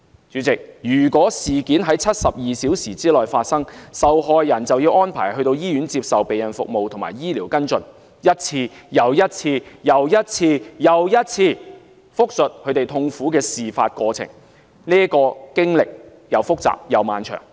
主席，如果事件在72小時內發生，受害人便會被安排到醫院接受避孕服務和醫療跟進，一次又一次地複述她們痛苦的事發過程，這經歷既複雜又漫長。